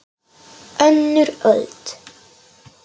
Þeirri ástríðu deildum við afi.